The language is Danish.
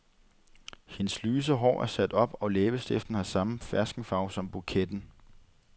Hendes lyse hår er sat op og læbestiften har samme ferskenfarve som buketten.